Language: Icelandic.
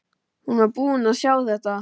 Hún var búin að sjá þetta!